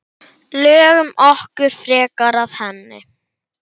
Lögum okkur frekar að henni.